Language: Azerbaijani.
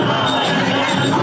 Haqdır, Haqdır!